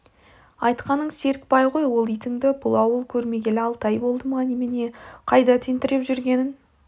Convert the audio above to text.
айтқаның серікбай ғой ол итінді бұл ауыл көрмегелі алты ай болды ма немене қайда тентіреп жүргенін